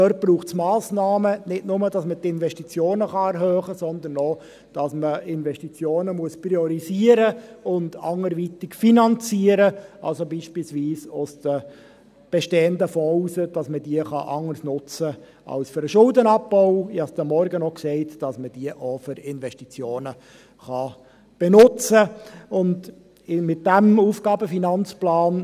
Da braucht es Massnahmen, nicht nur, damit man die Investitionen erhöhen kann, sondern auch, dass man Investitionen priorisieren und anderweitig finanzieren muss, also beispielsweise aus den bestehenden Fonds heraus, dass man sie anders nutzen kann als für den Schuldenabbau, dass man diese auch für Investitionen benutzen kann, wie ich heute Morgen schon sagte.